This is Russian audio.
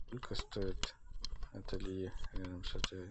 сколько стоит ателье рядом с отелем